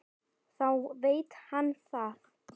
Þá veit hann það.